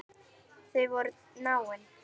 Þau voru náin.